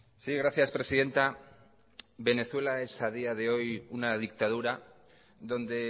sí gracias presidenta venezuela es a día de hoy una dictadura donde